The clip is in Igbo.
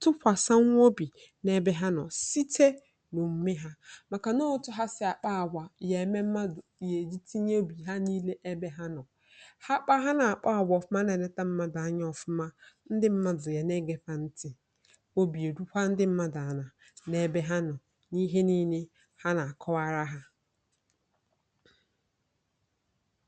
tụpụtakwa nwa obi n’ebe ha nọ site n’omume ha na otu ha si akpa àgwà. Ha kwesịkwara itinye obi ha niile na ọrụ ha, kpa àgwà ọma, na-elekọta mmadụ n’ezie. Mgbe ndị mmadụ na-ahụ na a na-ele ha anya, a na-ege ha ntị, na obi na-eru ha n’ebe ha nọ, ha ga na-akọwara ndị ọkachamara ihe na-eme ha n’ezie. Nke a ga-emekwa ka obi dị ha mma, ma mepụta mmekọrịta a na-arụ n’amụma, nke nwere ntụkwasị obi n’etiti mmadụ na ndị na-enyere ha aka.